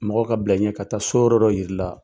Mɔgɔ ka bila i ɲɛ ka taa so yɔrɔ dɔ yira i la.